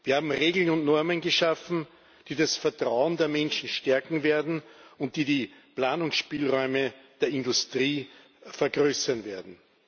Wir haben Regeln und Normen geschaffen, die das Vertrauen der Menschen stärken werden und die die Planungsspielräume der Industrie vergrößern werden.